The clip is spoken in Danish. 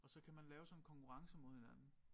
Og så kan man lave sådan konkurrencer mod hinanden